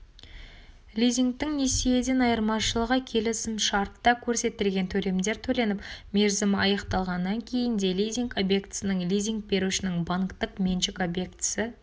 лизингтің несиеден айырмашылығы келісімшартта көрсетілген төлемдер төленіп мерзімі аяқталғаннан кейін де лизинг объектісінің лизинг берушінің банктік меншік объектісі